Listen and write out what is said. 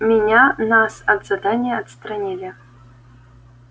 меня нас от задания отстранили